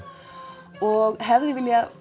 og hefði